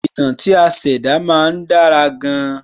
Ìtàn tí a ṣẹ̀dá má ń dára gan-an